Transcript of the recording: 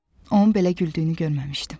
Onun belə güldüyünü görməmişdim.